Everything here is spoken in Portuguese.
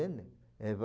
Entendem?